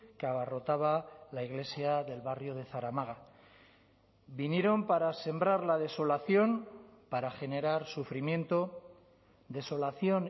que abarrotaba la iglesia del barrio de zaramaga vinieron para sembrar la desolación para generar sufrimiento desolación